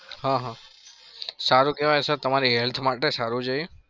હા હા સારું કેવાય. sir તમારી health માટે સારું છે